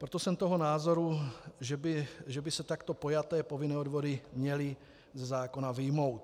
Proto jsem toho názoru, že by se takto pojaté povinné odvody měly ze zákona vyjmout.